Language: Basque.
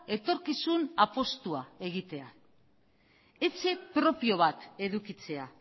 etorkizun apustua egitea etxe propio bat edukitzea